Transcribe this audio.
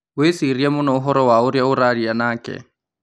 Wĩcirie mũno ũhoro wa ũria ũraria nake